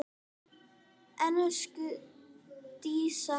Elsku Dísa.